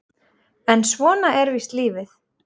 En svona er víst lífið.